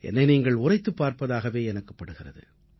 என்னை நீங்கள் உரைத்துப் பார்ப்பதாகவே எனக்குப் படுகிறது